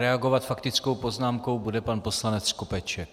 Reagovat faktickou poznámkou bude pan poslanec Skopeček.